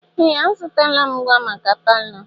Ee! Azụtala m ngwa maka palọ.